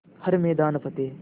हर मैदान फ़तेह